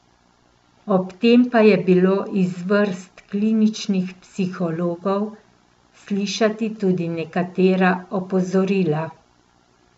Ob tem pa je bilo iz vrst kliničnih psihologov slišati tudi nekatera opozorila.